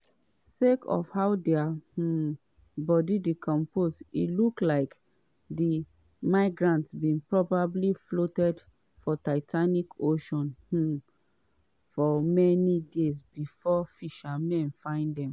sake of how dia um body decompose e look like di migrants bin probably float for atlantic ocean um for many days bifor fishermen find dem.